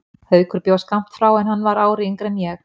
Haukur bjó skammt frá en hann var ári yngri en ég.